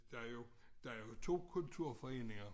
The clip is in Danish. Der jo der jo 2 kulturforeninger